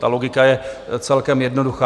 Ta logika je celkem jednoduchá.